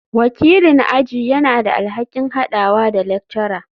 Wakilin aji yana da alhakin haɗawa da lecturer.